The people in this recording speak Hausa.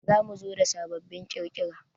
Za mu zo da sababbin kirkira